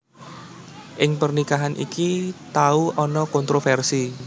Ing pernikahan iki tau ana kontrofersi